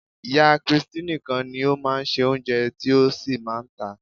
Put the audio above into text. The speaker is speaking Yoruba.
Ìyá christy nìkan ni ó máa ń se Oúnjẹ tí ó sì máa ń tà á.